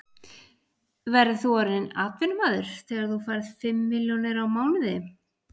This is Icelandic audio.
Verður þú orðinn atvinnumaður þegar þú fær fimm milljónir á mánuði?